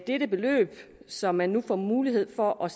dette beløb som man nu får mulighed for at